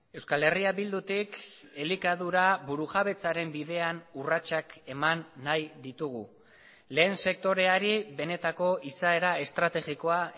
euskal herria bildutik elikadura burujabetzaren bidean urratsak eman nahi ditugu lehen sektoreari benetako izaera estrategikoa